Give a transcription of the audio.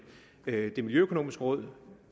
det miljøøkonomiske råd